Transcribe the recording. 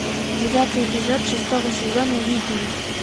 девятый эпизод шестого сезона викинги